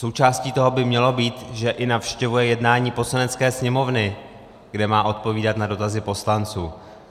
Součástí toho by mělo být, že i navštěvuje jednání Poslanecké sněmovny, kde má odpovídat na dotazy poslanců.